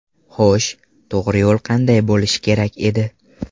Xo‘sh, to‘g‘ri yo‘l qanday bo‘lishi kerak edi?